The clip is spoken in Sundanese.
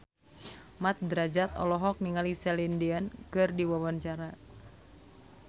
Mat Drajat olohok ningali Celine Dion keur diwawancara